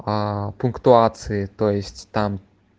пунктуации то есть там